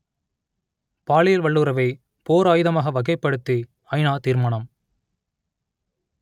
பாலியல் வல்லுறவை போர் ஆயுதமாக வகைப்படுத்தி ஐநா தீர்மானம்